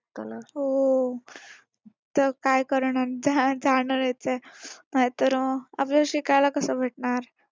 हो. तर काय करणार आपल्याला शिकायला कसं भेटणार?